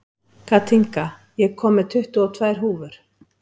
Kathinka, ég kom með tuttugu og tvær húfur!